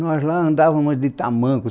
Nós lá andávamos de tamanco.